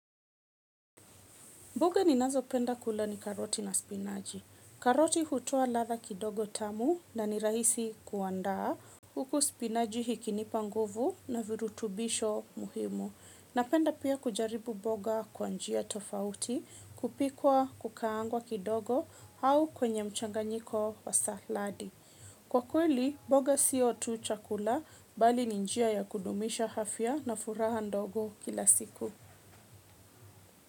Mboga ninazopenda kula ni karoti na spinachi. Karoti hutoa ladha kidogo tamu na ni rahisi kuandaa. Huku spinaji ikinipa nguvu na virutubisho muhimu. Napenda pia kujaribu mboga kwa njia tofauti, kupikwa kukaangwa kidogo au kwenye mchanganyiko wa saladi. Kwa kweli, mboga sio tu chakula bali ni njia ya kudumisha afya na furaha ndogo kila siku.